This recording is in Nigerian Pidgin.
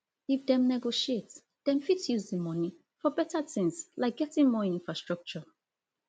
if dem negotiate dem fit use di money for beta things like getting more infrastructure